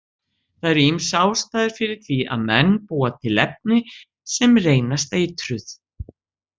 Það eru ýmsar ástæður fyrir því að menn búa til efni sem reynast eitruð.